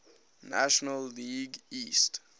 national league east